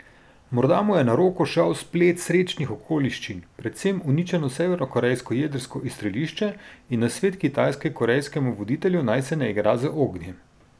Morda mu je na roko šel splet srečnih okoliščin, predvsem uničeno severnokorejsko jedrsko izstrelišče in nasvet Kitajske korejskemu voditelju, naj se ne igra z ognjem.